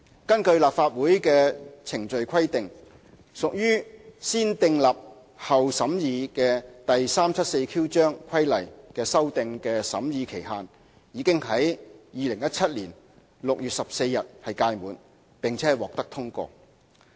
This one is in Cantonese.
根據立法會的規定，屬"先訂立後審議"的第 374Q 章規例修訂的審議期限已經在2017年6月14日屆滿，並獲得通過。